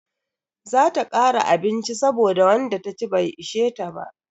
Za ta kara abinci saboda wanda taci bai ishe ta ba.